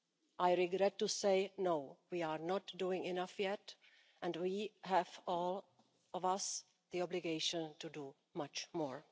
I regret to say no, we are not doing enough yet', and we have all of us the obligation to do much more.